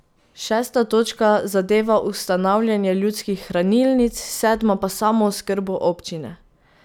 Šesta točka zadeva ustanavljanje ljudskih hranilnic, sedma pa samooskrbo občine.